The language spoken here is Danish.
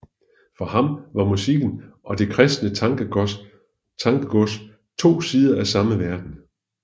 For ham var musikken og det kristne tankegods to sider af samme verden